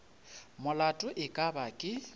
molato e ka ba ke